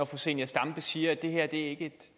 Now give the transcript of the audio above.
fru zenia stampe siger at det her ikke